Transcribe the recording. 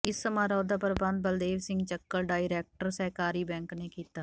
ਇਸ ਸਮਾਰੋਹ ਦਾ ਪ੍ਰਬੰਧ ਬਲਦੇਵ ਸਿੰਘ ਚੱਕਲ ਡਾਇਰੈਕਟਰ ਸਹਿਕਾਰੀ ਬੈਂਕ ਨੇ ਕੀਤਾ